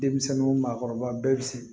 Denmisɛnninw ma kɔrɔba bɛɛ bi sin